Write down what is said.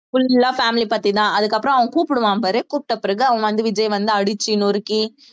full ஆ family பத்திதான் அதுக்கப்புறம் அவன் கூப்பிடுவான் பாரு கூப்பிட்ட பிறகு அவன் வந்து விஜய் வந்து அடிச்சு நொறுக்கி